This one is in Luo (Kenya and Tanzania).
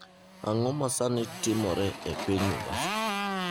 Ang’o ma sani timore e piny Mombasa?